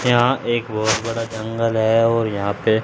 यहां एक बहोत बड़ा जंगल है और यहां पे--